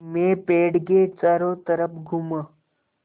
मैं पेड़ के चारों तरफ़ घूमा